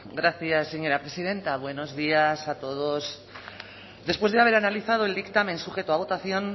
gracias señora presidenta buenos días a todos después de haber analizado el dictamen sujeto a votación